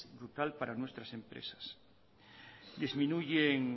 vital para nuestras empresas disminuyen